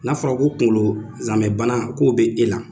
N'a fɔra ko kunkolo zamɛbana ko bɛ ela